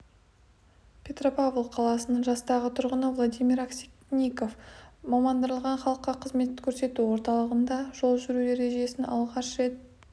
петропавл қаласының жастағы тұрғыны владимир аксенников мамандандырылған халыққа қызмет көрсету орталығында жол жүру ережесінен алғаш рет